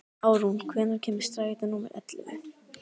Árún, hvenær kemur strætó númer ellefu?